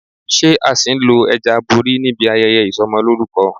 Ṣé a ṣì ń lo ẹja abori níbi ayẹyẹ Ìsọmọlórúkọ?